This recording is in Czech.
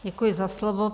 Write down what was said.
Děkuji za slovo.